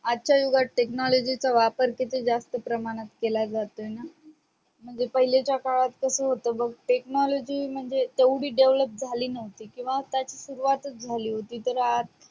आज च्या युगात technology चा वापर किती जास्त प्रमाणात केला जातोय ना म्हणजे पाहिलेच्य काळात कस होतय बग technology म्हणजे ऐवढी develop झाली न होती किंवा त्याची सुरवात झाली होती तर आज